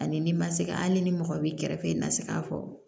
Ani n'i ma se ka hali ni mɔgɔ b'i kɛrɛfɛ i ma se k'a fɔ